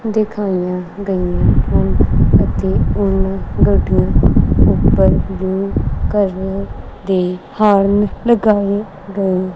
ਦਿਖਾਈਆਂ ਗਈਆਂ ਹਨ ਅਤੇ ਉਹਨਾਂ ਗੱਡੀਆਂ ਉੱਪਰ ਕਰਨੇ ਦੀ ਹੋਰਨ ਲਗਾਏ ਗਏ--